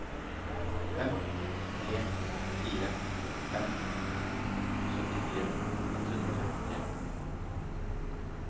fem tre fire fem syttifire ett hundre og femtitre